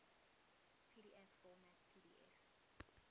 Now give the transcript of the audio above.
pdf format pdf